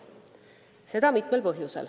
Seaduse algatamiseks on mitu põhjust.